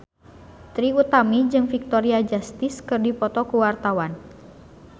Trie Utami jeung Victoria Justice keur dipoto ku wartawan